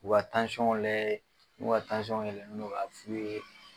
U ka layɛ n'u ka yɛlɛnen don ka f'u ye.